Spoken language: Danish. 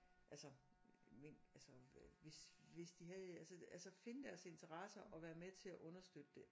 Altså altså hvis hvis de havde altså altså finde deres interesser og være med til at understøtte det